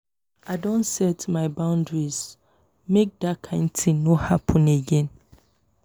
i don set my boundaries make dat kain tin no happen again.